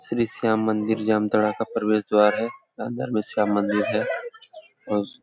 श्री श्याम मंदिर जामताड़ा का प्रवेश द्वार है अंदर में श्याम मंदिर है। और --